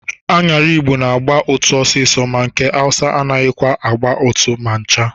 Aṅara Igbo na-agba ụtụ ọsịsọ ma nke Awụsa anaghịkwa agba ụtụ ma ncha.